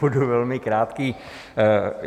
Budu velmi krátký.